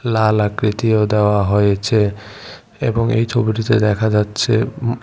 লাল আকৃতীয় দেওয়া হয়েছে এবং এই ছবিটিতে দেখা যাচ্ছে--